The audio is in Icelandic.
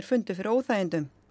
fundu fyrir óþægindum